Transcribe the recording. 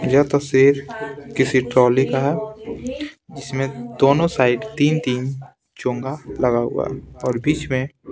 यह तस्वीर किसी ट्रॉली का है इसमें दोनों साइड तीन-तीन चोंगा लगा हुआ है और बीच में--